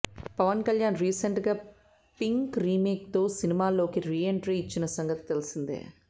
Pawan Kalyan recent గా Pink remake తో సినిమాల్లోకి రీ ఎంట్రీ ఇచ్చిన సంగతి తెలిసిందే